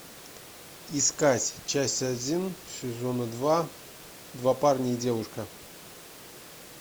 искать часть один сезона два два парня и девушка